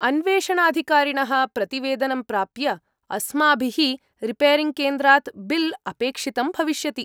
अन्वेषणाधिकारिणः प्रतिवेदनं प्राप्य, अस्माभिः रिपेरिङ्ग्केन्द्रात् बिल् अपेक्षितं भविष्यति।